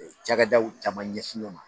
Cakɛdaw caman ɲɛsin ɲɔɔn ma